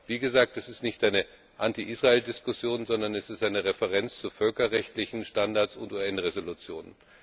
Aber wie gesagt es ist nicht eine Anti Israel Diskussion, sondern es ist eine Referenz zu völkerrechtlichen Standards und zu UN Resolutionen.